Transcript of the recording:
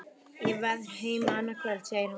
Ég verð heima annað kvöld, segir hann.